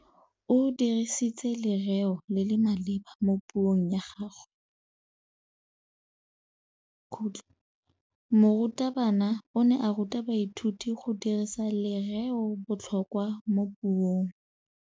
O dirisitse lerêo le le maleba mo puông ya gagwe. Morutabana o ne a ruta baithuti go dirisa lêrêôbotlhôkwa mo puong.